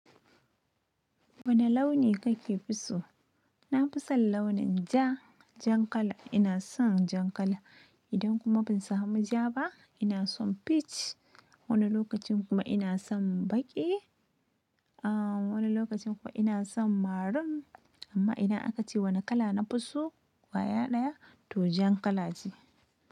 Wane launi kake fi so? Na fi son launin ja, jan kala. Ina son jan kala. Idan kuma ban samu ja ba, ina son peach. Wani lokacin kuma ina son baƙi. Ah wani lokacin kuwa ina son maroon. Amma idan aka ce wane kala na fi so, wa ya ɗaya to jan kala ce.